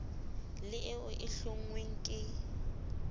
le eo e hlonngweng ke